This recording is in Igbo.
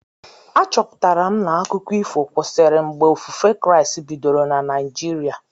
A chọpụtara m na akụkọ ifo kwesịrị mgbe ofufe Kraịst bidoro na Naijiria